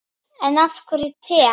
En af hverju te?